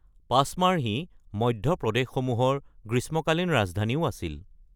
পচমাৰ্হীয়ে মধ্য প্ৰদেশসমূহৰ গ্ৰীষ্মকালীন ৰাজধানীও আছিল।